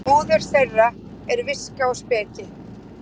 óður þeirra er viska og speki